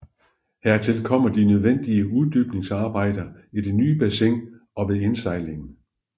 Hertil kom de nødvendige uddybningsarbejder i det nye bassin og ved indsejlingen